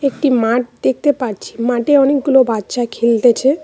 একটি মাঠ দেখতে পাচ্ছি মাটে অনেকগুলো বাচ্চা খেলতেছে।